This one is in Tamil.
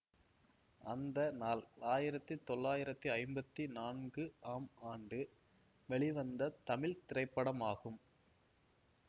அந்த நாள் ஆயிரத்தி தொளாயிரத்தி ஐம்பத்தி நான்கு ஆம் ஆண்டு வெளிவந்த தமிழ் திரைப்படமாகும்